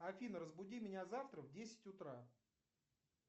афина разбуди меня завтра в десять утра